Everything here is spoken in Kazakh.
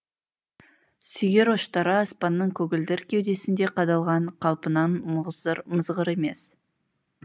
сүйір ұштары аспанның көгілдір кеудесінде қадалған қалпынан мызғыр емес